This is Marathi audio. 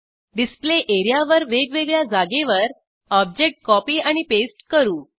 डिस्प्ले एरियावर वेगवेगळ्या जागेवर ऑब्जेक्ट कॉपी आणि पेस्ट करू